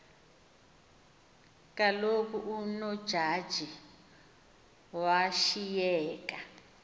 kaloku unojaji washiyeka